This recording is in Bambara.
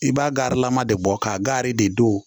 I b'a garilama de bɔ kari de don